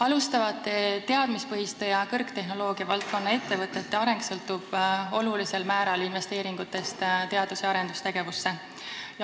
Alustavate teadmispõhiste ja kõrgtehnoloogia valdkonna ettevõtete areng sõltub olulisel määral investeeringutest teadus- ja arendustegevusse.